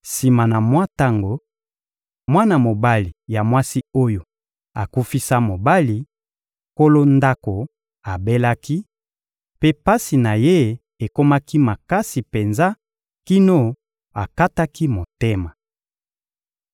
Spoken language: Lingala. Sima na mwa tango, mwana mobali ya mwasi oyo akufisa mobali, nkolo ndako, abelaki; mpe pasi na ye ekomaki makasi penza kino akataki motema.